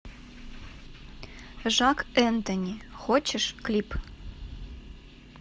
жак энтони хочешь клип